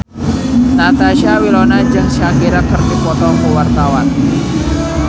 Natasha Wilona jeung Shakira keur dipoto ku wartawan